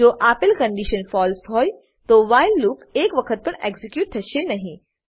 જો આપેલ condition false હોય તો વ્હાઈલ લૂપ એક વખત પણ એક્ઝીક્યુટ થશે નહી